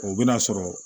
O bɛna sɔrɔ